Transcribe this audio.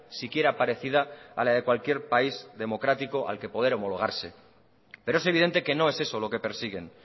siquiera parecida a la de cualquier país democrático al que poder homologarse pero es evidente que no es eso lo que persiguen